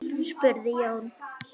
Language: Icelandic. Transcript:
spurði Jón.